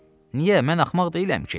Niyə, mən axmaq deyiləm ki?